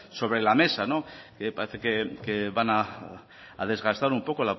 sobre la mesa parece que van a desgastar un poco